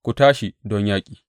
Ku tashi don yaƙi!